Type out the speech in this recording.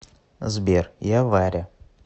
сбер я варя